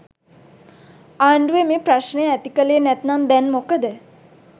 ආණ්ඩුව මේ ප්‍රශ්නය ඇති කළේ නැත්නම් දැන් මොකද